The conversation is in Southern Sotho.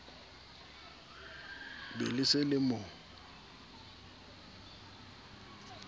be le se le mo